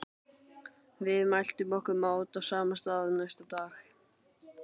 Við mæltum okkur mót á sama stað næsta dag.